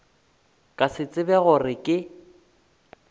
ka se tsebe gore ke